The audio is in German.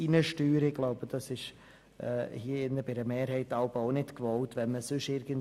Wenn man den Markt regulieren will, wenn es um den Staat geht, ist dies hier jeweils auch nicht von einer Mehrheit gewollt.